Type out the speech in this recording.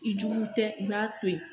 I jugu tɛ i b'a to yen